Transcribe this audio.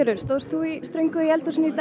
stóðst þú í ströngu í eldhúsinu í dag